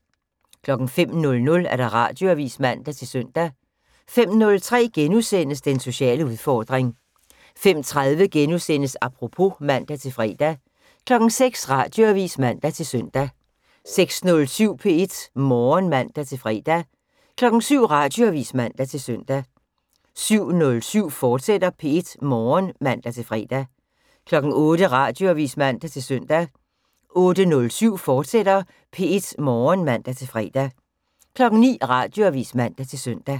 05:00: Radioavis (man-søn) 05:03: Den sociale udfordring * 05:30: Apropos *(man-fre) 06:00: Radioavis (man-søn) 06:07: P1 Morgen (man-fre) 07:00: Radioavis (man-søn) 07:07: P1 Morgen, fortsat (man-fre) 08:00: Radioavis (man-søn) 08:07: P1 Morgen, fortsat (man-fre) 09:00: Radioavis (man-søn)